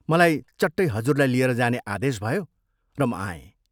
मलाई चट्टै हजुरलाई लिएर जाने आदेश भयो र म आएँ।